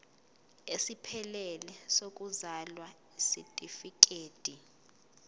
esiphelele sokuzalwa isitifikedi